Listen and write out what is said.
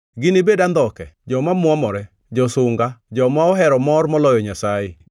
ginibed andhoke, joma mwomore, josunga, joma ohero mor moloyo Nyasaye,